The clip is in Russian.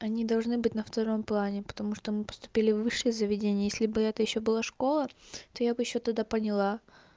они должны быть на втором плане потому что мы поступили в высшие заведения если бы это ещё была школа то я бы ещё тогда поняла